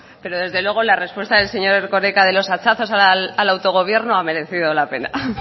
pero desde luego la respuesta del señor erkoreka de los hachazos al autogobierno ha merecido la pena